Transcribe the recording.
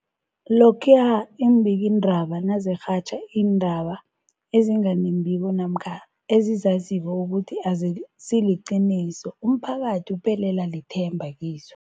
Lokhuya iimbikiindaba nazirhatjha iindaba ezinga nembiko namkha ezizaziko ukuthi azisiliqiniso, umphakathi uphelelwa lithemba kizo.